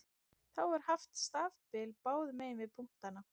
Þá er haft stafbil báðum megin við punktana.